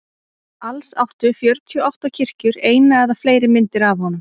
alls áttu fjörutíu og átta kirkjur eina eða fleiri myndir af honum